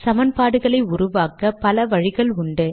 சமன்பாடுகளை உருவாக்க பல வழிகள் உள்ளன